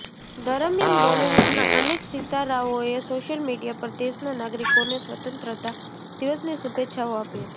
દરમિયાન બોલીવુડના અનેક સિતારાઓએ સોશિયલ મીડિયા પર દેશના નાગરિકોને સ્વતંત્રતા દિવસની શુભેચ્છાઓ આપી હતી